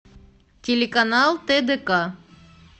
телеканал тдк